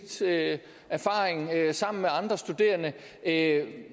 til at tage sig af